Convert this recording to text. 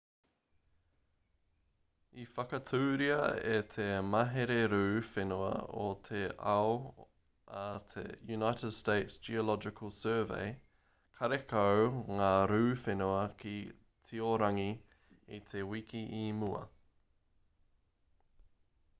i whakaaturia e te mahere rū whenua o te ao a te united states geological survey karekau ngā rū whenua ki tiorangi i te wiki i mua